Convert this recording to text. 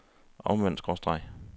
omvendt skråstreg